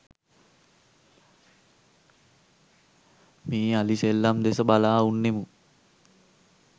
මේ අලි සෙල්ලම් දෙස බලා උන්නෙමු.